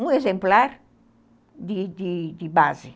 um exemplar de de de de base.